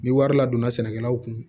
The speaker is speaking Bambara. Ni wari ladonna sɛnɛkɛlaw kun